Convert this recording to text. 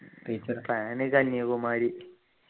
teacher plan Kanyakumari